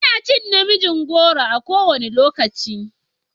Ina cin na miin goro a kowane lokaci.